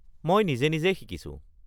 মই নিজে নিজেই শিকিছোঁ।